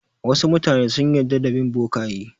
Wasu mutane sun yarda da bin bokaye.